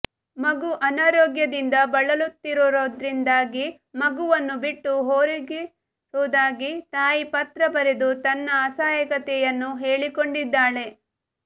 ಮಗು ಅನಾರೋಗ್ಯದಿಂದ ಬಳಲುತ್ತಿರೋದ್ರಿಂದಾಗಿ ಮಗುವನ್ನು ಬಿಟ್ಟು ಹೋಗಿರೋದಾಗಿ ತಾಯಿ ಪತ್ರ ಬರೆದು ತನ್ನ ಅಸಹಾಯಕತೆಯನ್ನು ಹೇಳಿಕೊಂಡಿದ್ದಾಳೆ